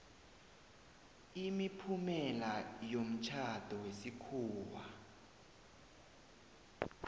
imiphumela yomtjhado wesikhuwa